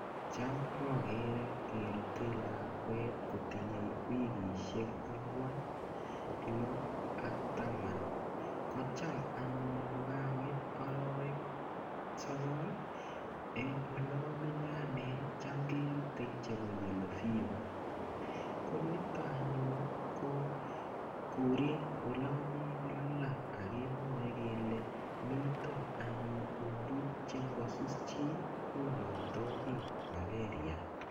Cham ogere kerute lakwet kotinye wikisiek ang'wan, lo ak taman. Ko cham anyun ko kagoit arowek sogol en ole omenye anee kocham kerute chebo yellow fever ko nito anyun ko koret ole amii ko lalang ak kemwoe kele miten anyun mbu che ngosus chi konomdo biik malaria.